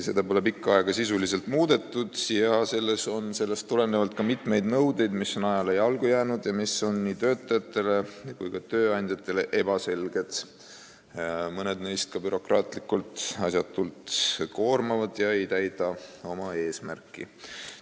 Seda pole pikka aega sisuliselt muudetud ja selles on sellest tulenevalt mitmeid nõudeid, mis on ajale jalgu jäänud ja mis on nii töötajatele kui ka tööandjatele ebaselged, mõned neist on ka asjatult bürokraatiaga koormavad ega täida oma eesmärki.